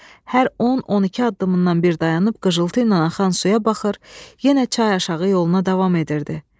Hər 10-12 addımdan bir dayanır, qıcıltı ilə axan suya baxır, yenə çay aşağı yoluna davam edirdi.